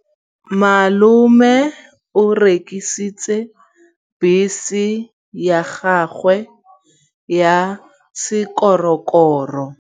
Malome o rekisitse bese ya gagwe ya sekgorokgoro.